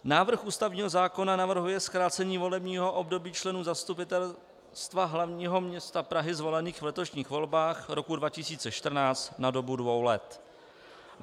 Návrh ústavního zákona navrhuje zkrácení volebního období členů Zastupitelstva hlavního města Prahy zvolených v letošních volbách roku 2014 na dobu dvou let.